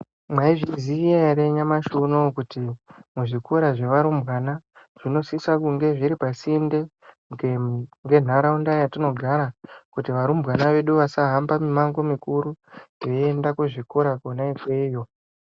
Mwaizviziya ere kuti nyamashi unowo kuti muzvikora zvevarumbwana zvinosisa kunge zviri pasinde nenharaunda yatinogara kuti varumbwana vedu vasahamba mimango mikuru veiyenda kuzvikora kona ikweyo.